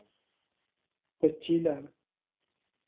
കൊച്ചിയിലാണ്